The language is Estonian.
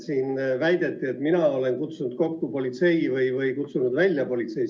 Siin väideti, et mina olen kutsunud kokku politsei või kutsunud välja politsei.